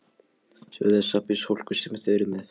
Sjáðu þessa byssuhólka sem þeir eru með!